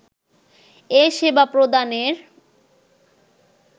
এ সেবা প্রদানের